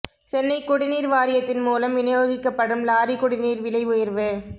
சென்னை குடிநீா் வாரியத்தின் மூலம் விநியோகிக்கப்படும் லாரி குடிநீா் விலை உயா்வு